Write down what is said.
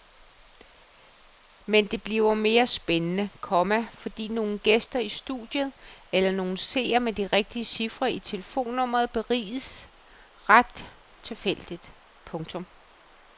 Men bliver det mere spændende, komma fordi nogle gæster i studiet eller nogle seere med de rigtige cifre i telefonnummeret beriges ret tilfældigt. punktum